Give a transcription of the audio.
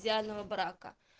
идеального брака